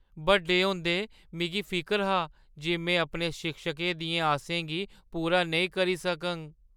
बड्डे होंदे, मिगी फिकर हा जे में अपने शिक्षकें दियें आसें गी पूरा नेईं करी सकङ।